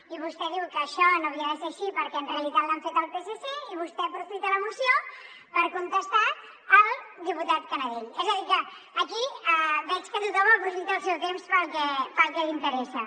i vostè diu que això no havia de ser així perquè en realitat l’han fet al psc i vostè aprofita la moció per contestar al diputat canadell és a dir que aquí veig que tothom aprofita el seu temps per al que li interessa